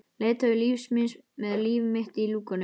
Leiðtogi lífs míns með líf mitt í lúkunum.